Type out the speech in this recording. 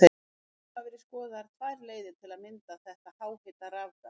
Einkum hafa verið skoðaðar tvær leiðir til að mynda þetta háhita rafgas.